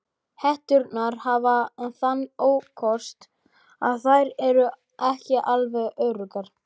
Hetturnar hafa þann ókost að þær eru ekki alveg öruggar.